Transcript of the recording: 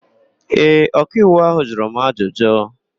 Ee, ọkaiwu áhụ̀ jụrụ m ajụjụ.